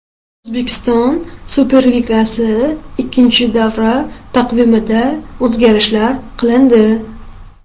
O‘zbekiston Superligasi ikkinchi davra taqvimida o‘zgarishlar qilindi.